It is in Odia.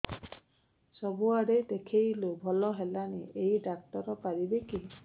ସବୁଆଡେ ଦେଖେଇଲୁ ଭଲ ହେଲାନି ଏଇ ଡ଼ାକ୍ତର ପାରିବେ କି